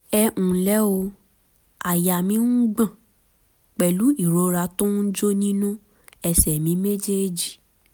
ẹ ǹlẹ́ o àyà mi ń gbọ̀n pẹ̀lú ìrora tó ń jó nínú ẹsẹ̀ mi méjèèjì